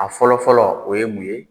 A fɔlɔ fɔlɔ o ye mun ye ?